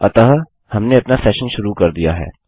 अतः हमने अपना सेशन शुरू कर दिया है